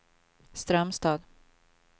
Strömstad